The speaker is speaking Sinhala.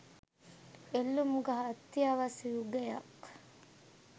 එල්ලුම් ගහ අත්‍යවශ්‍ය යුගයක්